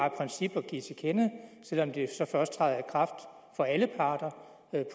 et princip til kende selv om det så først træder i kraft for alle parter